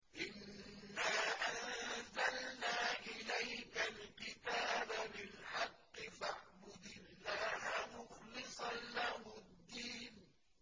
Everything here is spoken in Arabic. إِنَّا أَنزَلْنَا إِلَيْكَ الْكِتَابَ بِالْحَقِّ فَاعْبُدِ اللَّهَ مُخْلِصًا لَّهُ الدِّينَ